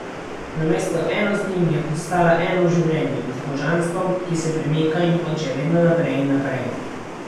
Namesto eno z njim, je postala eno z Življenjem, z božanstvom, ki se premika in hoče vedno naprej in naprej.